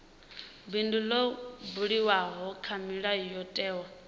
bindu ḽo buliwaho kha mulayotewa